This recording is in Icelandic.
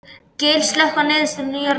Gael, slökktu á niðurteljaranum.